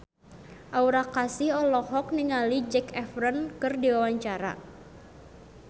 Aura Kasih olohok ningali Zac Efron keur diwawancara